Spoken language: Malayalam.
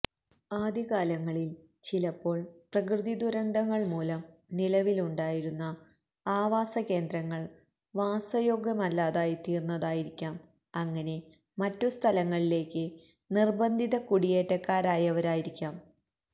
ആദ്യകാലങ്ങളില് ചിലപ്പോള് പ്രകൃതി ദുരന്തങ്ങള് മൂലം നിലവിലുണ്ടായിരുന്ന ആവാസകേന്ദ്രങ്ങള് വാസയോഗ്യമല്ലാതായിത്തീര്ന്നതായിരിക്കാം അങ്ങനെ മറ്റുസ്ഥലങ്ങളിലേയ്ക്ക് നിര്ബന്ധിത കുടിയേറ്റക്കാരായവരായിരിക്കാം